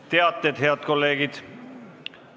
Nüüd teated, head kolleegid!